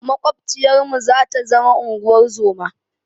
Maƙwabciyarmu zata zama unguwar zoma.